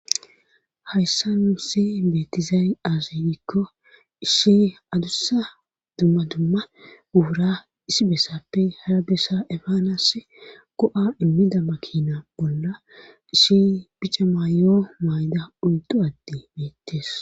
Hayssan nuussi beetizaari aaze gikko ishi adussa dumma dumma ubura isi besappe harabessa efaanas go7a immida makina bolla issi pica maayoo mayda undu atti dees.